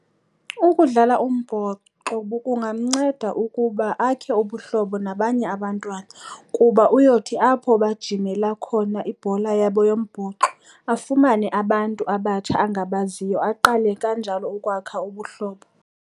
Ukudlala umbhoxo kungamnceda ukuba akhe ubuhlobo nabanye abantwana kuba uyothi apho ajimela khona ibhola yombhoxo afumane abantu abatsha angabaziyo aqale kanjalo ukwakha ubuhlobo.